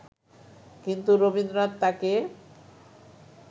কিন্তু রবীন্দ্রনাথ তাঁকে